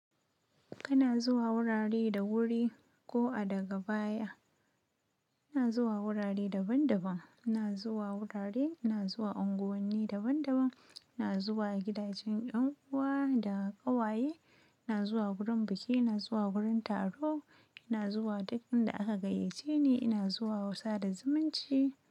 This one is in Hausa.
Kana zuwa wurare da wuri ko a daga baya. Ina zuwa wurare daban daban, ina zuwa wurare, ina zuwa unguwanni daban daban, ina zuwa gidajen yan uwa da ƙawaye, ina zuwa wurin biki, ina zuwa wurin taro, ina zuwa dukkan inda aka gayyace ni, ina zuwa sada zumunci.